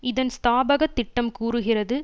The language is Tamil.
இதன் ஸ்தாபகத் திட்டம் கூறுகிறது